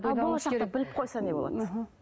ал болашақта біліп қойса не болады іхі